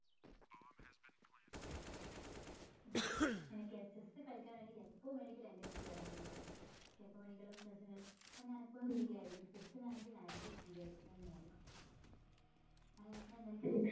നിനക്കെ chess കളിക്കാൻ വേണ്ടി എപ്പോ വേണമെങ്കിലും എൻ്റെ വീട്ടില് വരാവുന്നതാണ് അനക്ക് എപ്പോ വേണെങ്കിലും chess കളിക്കാൻ ഞാൻ എപ്പോളും free ആയിരിക്കും chess നാണെങ്കിൽ ഞാൻ എപ്പോ free ആയിരിക്കാൻ നോക്കാം അതായത് ഞാൻ നിനക്കിത്